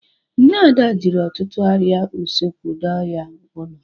Nne Ada jiri ọtụtụ arịa usekwu doo ya ụlọ.